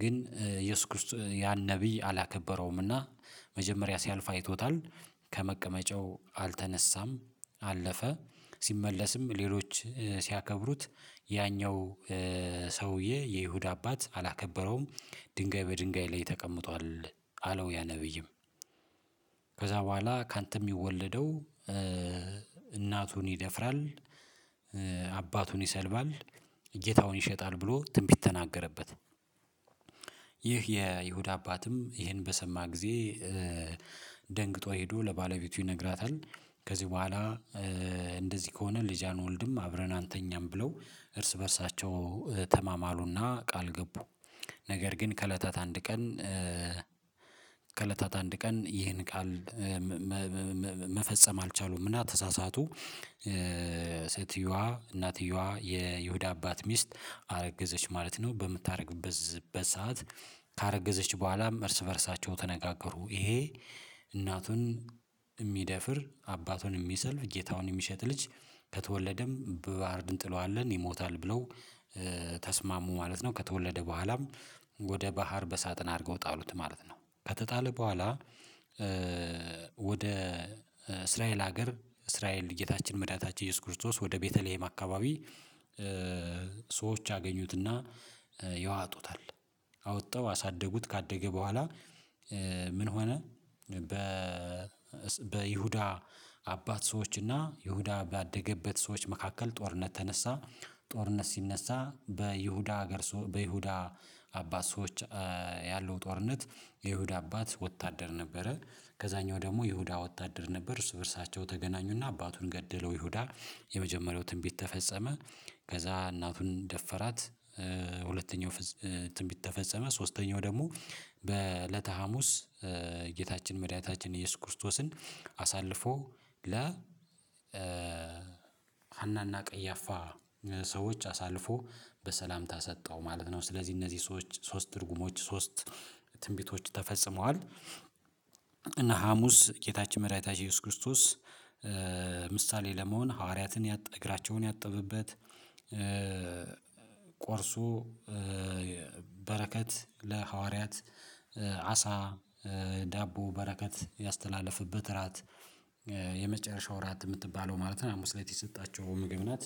ግን የእየሱስ ክርስቶስ ያን ነብይ አላከበረውምና። መጀመሪያ ሲያልፍ አይቶታል ከመቀመጫው አልተነሳም አለፈ ሲመለስም ሌሎች ሲያከብሩት ያኛው ሰውዬ የይሁዳ አባት አላከበረውም ድንጋይ በድንጋይ ላይ ተቀምጧል አለው ያ ነብይም ከዛ በኋላ ካንተ የሚወለደው እናቱን ይደፍራል አባቱን ይሰልባል ጌታውን ይሸጣል ብሎ ትንቢት ተናገረበት። ይህ የይሁዳ አባትም ይሄን በሰማ ጊዜ ደንግጦ ሄዶ ለባለቤቱ ይነግራታል ከዚህ በኋላ እንደዚህ ከሆነ ልጅ አንወልድም አብረን አንተኛም ብለው እርስ በእርሳቸው ተማማሉና ቃል ገቡ፤። ነገር ግን ከእለታት አንድ ቀን ከለታት አንድ ቀን ይህን ቃል መፈጸም አልቻሉም እና ተሳሳቱ፤። ሴትየዋ እናትየዋ የይሁዳ አባት ሚስት አረገዘች ማለት ነው በምታረግዝበት ሰዓት ካረገዘች በኋላ እርስ በእርሳቸው ተነጋገሩ ይሄ እናቱን የሚደፍር አባቱን የሚሰልፍ ጌታውን የሚሸጥ ልጅ ከተወለደም በባህር እንጥለዋለን ይሞታል ብለው ተስማሙ ማለት ነው። ከተወለደ በኋላም ወደ ባህር በሳጥን አድርገው ጣሉት ማለት ነው። ከተጣለ በኋላ ወደ እስራኤል ሀገር እስራኤል ጌታችን መድኃኒታችን ኢየሱስ ክርስቶስ ወደ ቤተልሄም አካባቢ ሰዎች አገኙትና ያዋጡታል፤። አውጣው አሳደጉት ካደገ በኋላ ምን ሆነ? በ በይሁዳ አባት ሰዎች እና ይሁዳ ባደገበት ሰዎች መካከል ጦርነት ተነሳ ጦርነት ሲነሳ በይሁዳ ሀገር ሰው በይሁዳ አባት ሰዎች ያለው ጦርነት የይሁዳ አባት ወታደር ነበረ ከዛኛው ደግሞ ይሁዳ ወታደር ነበር እሱ በእርሳቸው ተገናኙና አባቱን ገደለው ይሁዳ የመጀመሪያው ትንቢት ተፈጸመ። ከዛ እናቱን ደፈራት ሁለተኛው ትንቢት ተፈጸመ። ሶስተኛው ደግሞ በእለተ ሀሙስ ጌታችን መድኃኒታችን ኢየሱስ ክርስቶስን አሳልፎ ለ ሐናና ቀያፋ ሰዎች አሳልፎ በሰላምታ ሰጠው ማለት ነው። ስለዚህ እነዚህ ሰዎች ሶስት ትርጉሞች ሶስት ትንቢቶች ተፈጽመዋል። እና ሀሙስ ጌታችን መድኃኒታችን ኢየሱስ ክርስቶስ ምሳሌ ለመሆን ሐዋርያትን እግራቸውን ያጠበበት ቆርሶ በረከት ለሐዋርያት አሳ ዳቦ በረከት ያስተላለፍበት እራት የመጨረሻው እራት የምትባለው ማለት ነው። ሀሙስ ላይ የሰጣቸው ምግብ ናት።